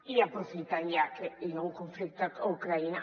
i aprofitant que hi ha un conflicte a ucraïna